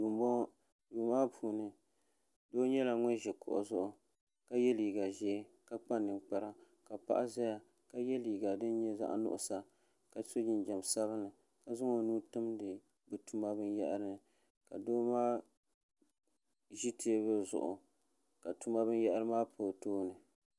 duu m-bɔŋɔ duu maa puuni doo nyɛla ŋun ʒi kuɣu zuɣu ka ye liiga ʒee ka kpa ninkpara ka paɣa zaya ka ye liiga din nyɛ zaɣ' nuɣisa ka sɔ jinjam sabinli ka zaŋ o nuu timdi bɛ tuma binyɛhiri ni ka doo maa ʒi teebuli zuɣu ka tuma binyɛhiri maa pa o tooni.